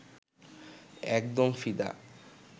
একদম ফিদা